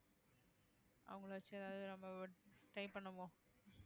அவங்களை வச்சு ஏதாவது நம்ம try பண்ணுவோம்